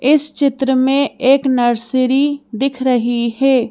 इस चित्र में एक नर्सरी दिख रही हे।